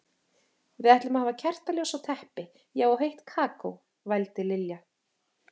Við ætlum að hafa kertaljós og teppi, já og heitt kakó, vældi Lilla.